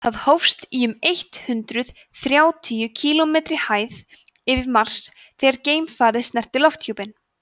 það hófst í um eitt hundruð þrjátíu kílómetri hæð yfir mars þegar geimfarið snerti lofthjúpinn